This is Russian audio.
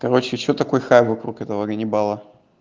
короче что такой хай вокруг этого ганнибала